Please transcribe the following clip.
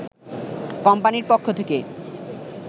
কোম্পানির পক্ষ থেকে